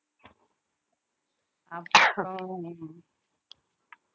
அப்புறம்